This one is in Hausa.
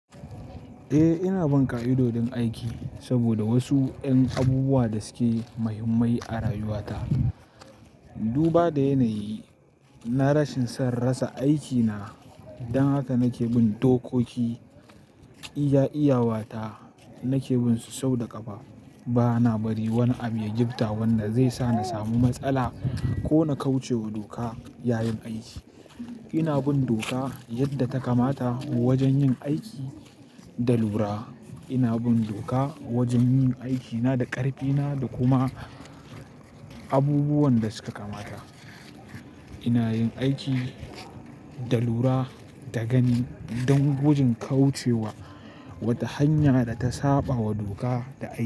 Eh ina bin ƙa'idodin aiki sabida wasu ƴan abubuwa da suke muhimmai a rayuwa ta. Duba da yanayi na rashin son rasa aikina dan haka nake bin dokoki iya iyawa ta nake binsu sau da ƙafa. Bana bari wani abu ya gifta wanda zai sa na samu matsala ko na kauce wa doka yayin aiki. Ina bin doka yadda ta kamata wajen yin aiki da lura. Ina bin doka wajen yin aikina da ƙarfi na da kuma abubuwan da suka kamata. Ina yin aiki da lura, da gani dan gudun kauce wa wata hanya da ta saɓa wa doka da aiki.